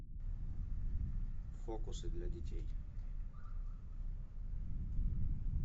фокусы для детей